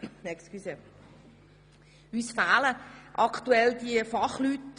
Uns fehlen aktuell die Fachleute.